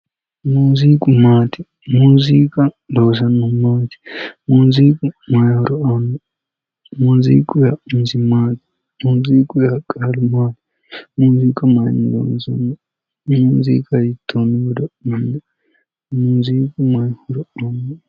Muuziiu maati? muuziiu loosannohu maati? muuziiu mayi horo aanno muuziiqu yaannori isi maati? muuziiqu yaa qaalu isi maati? muuziiqa maayiinni loonsoonni? muuziiqa hiittoonni godo'linanni, muuziiqu maayi horo aanno?